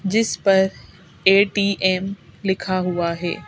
जिस पर ए_टी_एम लिखा हुआ है।